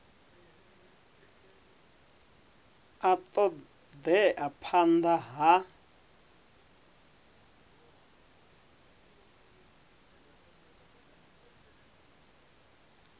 a ṱo ḓea phanḓa ha